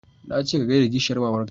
Na ce ka gaida kishiyar mamar ka